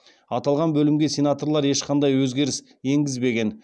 аталған бөлімге сенаторлар ешқандай өзгеріс енгізбеген